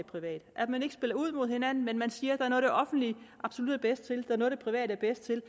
privat at man ikke spiller ud mod hinanden men siger er det offentlige absolut er bedst til og noget det private er bedst til